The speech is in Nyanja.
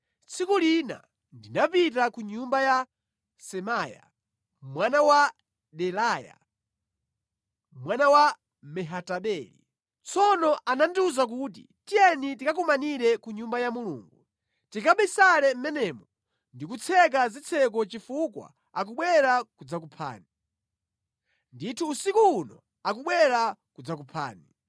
Tsiku lina ndinapita ku nyumba ya Semaya mwana wa Delaya mwana wa Mehatabeli. Tsono anandiwuza kuti, “Tiyeni tikakumanire ku Nyumba ya Mulungu. Tikabisale mʼmenemo ndi kutseka zitseko chifukwa akubwera kudzakuphani. Ndithu usiku uno akubwera kudzakuphani.”